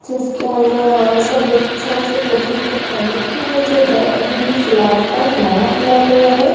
जिसके अंदर और ऐसा देख से प्रतीत होता है कि ये जो है अभी ही फिलहाल का नया खुला गया है।